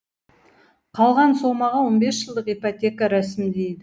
қалған сомаға он бес жылдық ипотека рәсімдейді